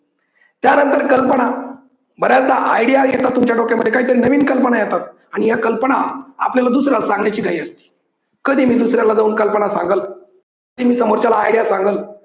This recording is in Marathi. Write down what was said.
त्यानंतर कल्पना बर्‍याचदा आयडिया येतात तुमच्या डोक्यामध्ये काहीतरी नवीन कल्पना येतात. आणि या कल्पना आपल्याला दुसऱ्याला सांगण्याची घाई असते. कधी मी दुसऱ्याला जाऊन कल्पना सांगल, कि मी समोरच्याला आयडिया सांगल.